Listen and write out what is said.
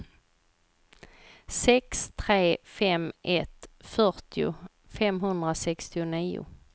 sex tre fem ett fyrtio femhundrasextionio